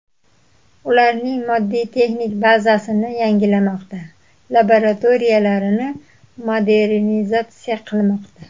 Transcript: Ularning moddiy-texnik bazasini yangilamoqda, laboratoriyalarini modernizatsiya qilmoqda.